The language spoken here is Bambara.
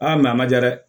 Aa a man diya dɛ